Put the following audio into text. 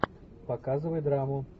показывай драму